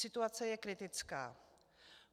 Situace je kritická.